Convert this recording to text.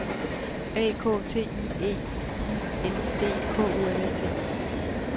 A K T I E I N D K O M S T